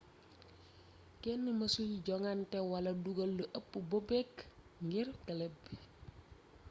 kenn mësul jongante wala duggal lu ëpp bobek ngir club bi